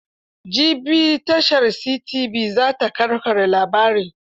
Jibi tashar CTV za ta ƙarƙare labarin.